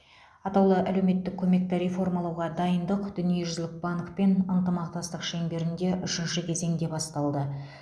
атаулы әлеуметтік көмекті реформалауға дайындық дүниежүзілік банкпен ынтымақтастық шеңберінде үшінші кезеңде басталды